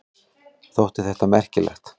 Þótti þetta merkilegt.